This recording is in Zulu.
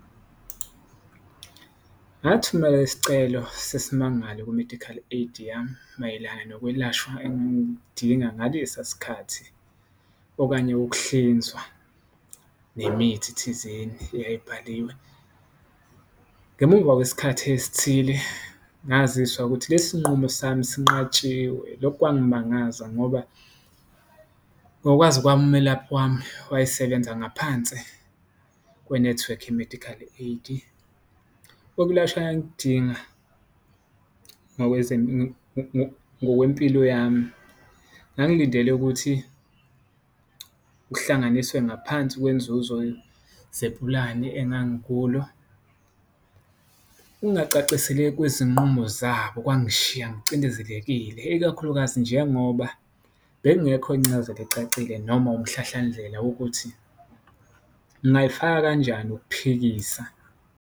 Ngathumela isicelo sesimangalo ku-medical aid yami mayelana nokwelashwa engangikudinga ngalesa sikhathi, okanye ukuhlinzwa nemithi thizeni eyayibhaliwe. Ngemuva kwesikhathi esithile ngaziswa ukuthi lesi nqumo sami sinqatshiwe, lokhu kwangimangaza ngoba ngokwazi kwami umelaphi wami wayesebenza ngaphansi kwenethiwekhi ye-medical aid. Ukulashwa engangikudinga ngokwempilo yami ngangilindele ukuthi kuhlanganiswe ngaphansi kwenzuzo zepulani engangikulo, ungacaciseleki kwezinqumo zabo kwangishiya ngicindezelekile. Ikakhulukazi, njengoba bekungekho incazelo ecacile noma umhlahlandlela wokuthi ngingayifaka kanjani ukuphikisa.